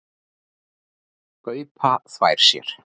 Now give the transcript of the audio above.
Gaupa þvær sér.